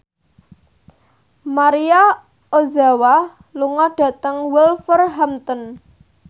Maria Ozawa lunga dhateng Wolverhampton